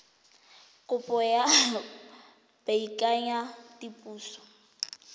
kopo ya go baakanya diphoso